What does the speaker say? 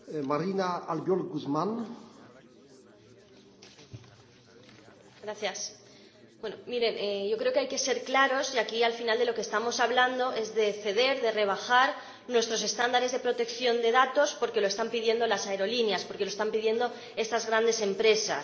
Señor Presidente, yo creo que hay que ser claros y aquí, al final, de lo que estamos hablando es de ceder, de rebajar nuestros estándares de protección de datos porque lo están pidiendo las aerolíneas, porque lo están pidiendo estas grandes empresas.